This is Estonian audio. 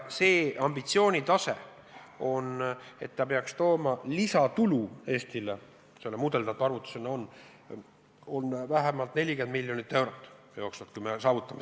Ambitsioon on, et see peaks tooma Eestile lisatulu kolmeaastases faasis vähemalt 40 miljonit eurot.